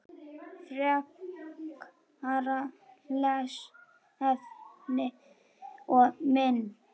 Frekara lesefni og mynd